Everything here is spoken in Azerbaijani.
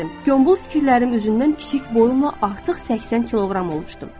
Yombul fikirlərim üzündən kiçik boyumla artıq 80 kiloqram olmuşdum.